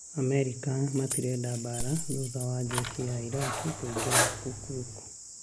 Amerika matĩrenda mbara thutha wa Jesi wa Iraq kũingĩra Kirkuk